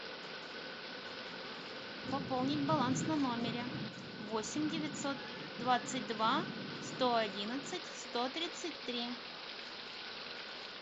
пополнить баланс на номере восемь девятьсот двадцать два сто одиннадцать сто тридцать три